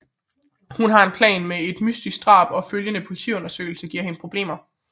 Hun har en plan men et mystisk drab og følgende politiundersøgelse giver hende problemer